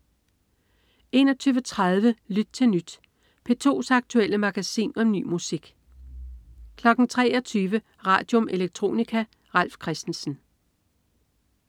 21.30 Lyt til Nyt. P2's aktuelle magasin om ny musik 23.00 Radium. Electronica. Ralf Christensen